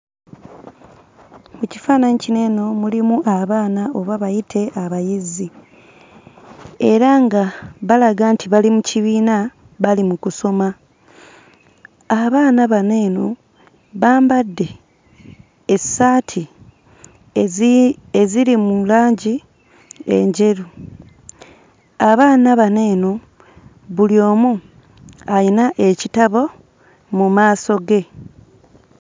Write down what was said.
Mu kifaananyi kino eno mulimu abaana oba bayite abayizi era nga balaga nti bali mu kibiina bali mu kusoma. Abaana bano eno bambadde essaati eziri mu langi enjeru. Abaana bano eno, buli omu ayina ekitabo mu maaso ge.